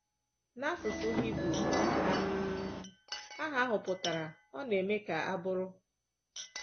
N’asụsụ Hibru um aha ahụ pụtara “Ọ Na-eme Ka A Bụrụ.”